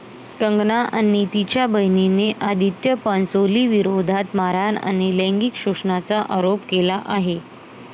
कंगना आणि तिच्या बहिणीने आदित्य पांचोलीविरोधात मारहाण आणि लैंगिक शोषणाचा आरोप केला आहे.